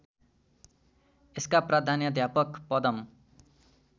यसका प्रधानाध्यापक पदम